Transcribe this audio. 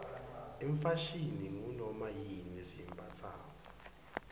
ifashini ngunoma yini lesiyimbatsako